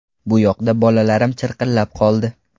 Bu yoqda bolalarim chirqillab qoldi.